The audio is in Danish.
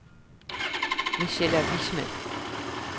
Michella Wichmann